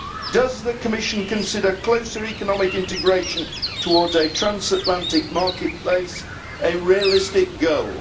Does the Commission consider closer economic integration towards a transatlantic market place a realistic goal?